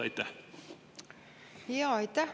Aitäh!